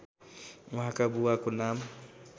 उहाँका बुबाको नाम